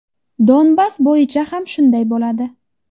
Donbass bo‘yicha ham shunday bo‘ladi.